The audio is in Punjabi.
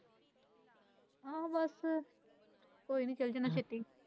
ਹਾਂ ਬਸ ਕੋਈ ਨਹੀਂ ਬਸ ਟੈਨਸ਼ਨ ਨਾ ਛੱਡੀ।